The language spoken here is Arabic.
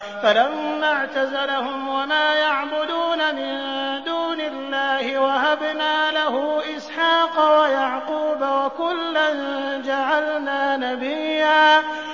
فَلَمَّا اعْتَزَلَهُمْ وَمَا يَعْبُدُونَ مِن دُونِ اللَّهِ وَهَبْنَا لَهُ إِسْحَاقَ وَيَعْقُوبَ ۖ وَكُلًّا جَعَلْنَا نَبِيًّا